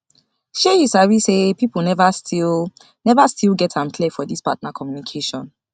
shay you sabi say people never still never still get am clear for this partner communication